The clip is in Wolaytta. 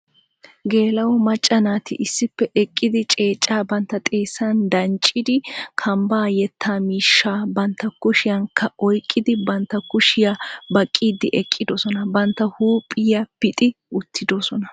Geela'o macca naati issippe eqqidi ceeccaa bantta xeessan danccidi kambaa yetta miishshaa bantta kushiyankka oyqidi bantta kushiya baqqidi eqqidosona. Bantta huuphiya pixxi uttidoosona.